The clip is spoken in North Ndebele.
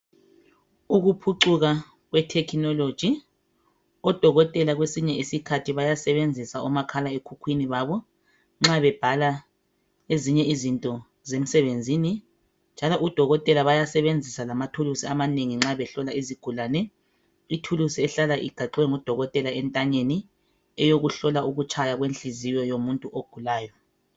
ukuphucuka kwe technology odokotela kwesinye isikhathi bayasebenzisa omakhala ekhukhwini babo nxa bebhala ezinye izinto zemsebenzini njalo odokotela bayasebenzisa lamathulusi amanengi nxa behlola izigulane ithulusi ehlala igaxwe ngo dokotela entanyeni eyokuhlola ukutshaya kwenhliziyo yomuntu ogulayo